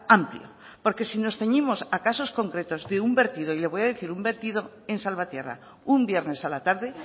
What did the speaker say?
amplio porque si nos ceñimos a casos concretos de un vertido y le voy a decir un vertido en salvatierra un viernes a la tarde